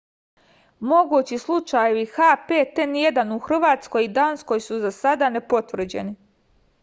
могући случајеви h5n1 у хрватској и данској су за сада непотврђени